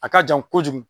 A ka jan kojugu